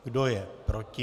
Kdo je proti?